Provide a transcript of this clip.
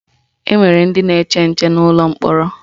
Enwere ndị na-eche nche n'ụlọ mkpọrọ